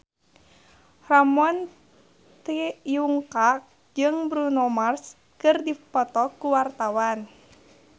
Ramon T. Yungka jeung Bruno Mars keur dipoto ku wartawan